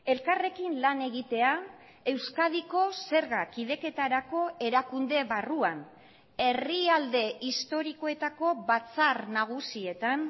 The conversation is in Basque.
elkarrekin lan egitea euskadiko zerga kideketarako erakunde barruan herrialde historikoetako batzar nagusietan